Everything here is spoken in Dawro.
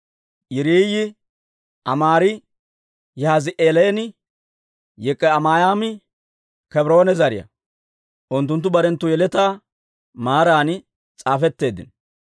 Yiriiyi, Amaari, Yahaazi'eelinne Yik'ami'aami Kebroone zariyaa; unttunttu barenttu yeletaa maaran s'aafetteeddino.